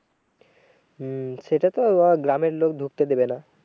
হম সেটা তো গ্রামের লোক ঢুকতে দেবে না।